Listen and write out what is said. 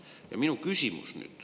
Ja nüüd minu küsimus.